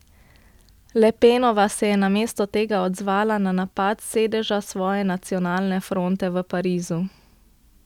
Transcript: Le Penova se je namesto tega odzvala na napad s sedeža svoje Nacionalne fronte v Parizu.